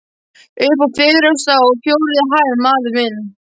Uppi á fertugustu og fjórðu hæð, maður minn.